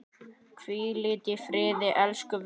Hvíldu í friði elsku vinur.